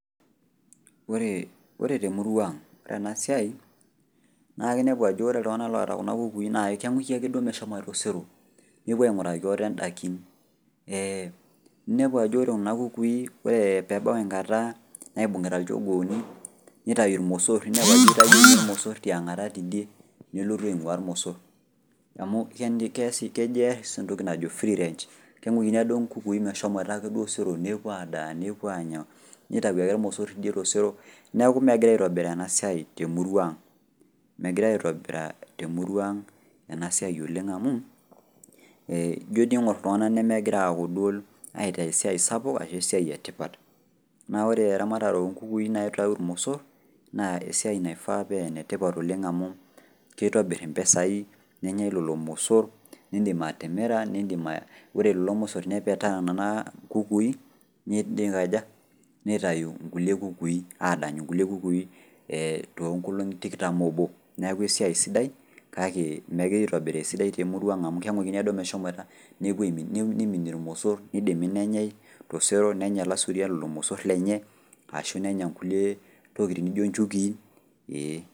Oore temurua ang' oore eena siai, naa inepu aajo oore iltung'anak loota kuuna kukui naa keing'uiki aake duo meshomoita osero nepuo aing'uraki aate in'daikin. Ninepu aajo oore kuuna kukui oore peyie ebau enkata naibung'ita ilchogooni, neitaayu irmosor ninepu aajo eitayuo ninye irmosor tiong'ata nelotu aing'uaa irmosor. Amuu kejo aas entoki naajo Free Range keing'uikini aake duo inkukui meshomoita aake duo osero meshomoita adaa nepuo aanya, nitau aake irmosor teidie tosero niaku megirae aitobiraa eena siai temurua ang'. Megirae aitobiraa eena siai oleng' temurua aang' eena siai oleng' amuu, iijo teniing'or iltung'anak nemegira aitaa esiai sapuk, arshu esiai ee tipat. Naa oore eramatare oo nkukui naa keitau irmosor naa esiai naifaa paa enetipat oleng amuu keitobir impisai, nenyae lelo mosor, niidim atimira, oore lelo mosor nepetaa nena kukui, neikaja, neitau inkulie kukui, aadanyu inkulie kukui tinkolong'i tikitam oobo. Niaku esai sidai kake megirae aitobiraa esidai temurua ang' amuu keing'uikini aake duo meshomoita nepuo aiminie irmosor, neidimi nenyae, tosero nenya ilasuriak lelo mosor lenye arashu eenya intokitin naijo inchukii.